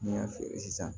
N'i y'a feere sisan